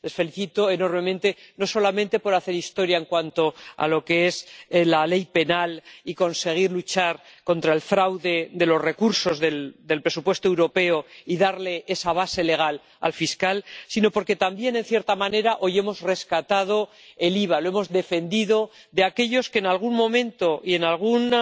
Les felicito enormemente, no solamente por hacer historia en cuanto a lo que es la ley penal y conseguir luchar contra el fraude de los recursos del presupuesto europeo y darle esa base legal al fiscal, sino porque también, en cierta manera, hoy hemos rescatado el IVA, lo hemos defendido de aquellos que en algún momento y en alguna